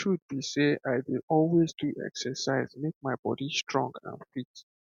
the truth be sey i dey always do exercise make my body strong and fit